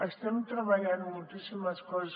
estem treballant moltíssimes coses